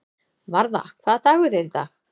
Varða, hvaða dagur er í dag?